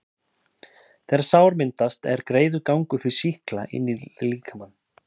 þegar sár myndast, er greiður gangur fyrir sýkla inn í líkamann.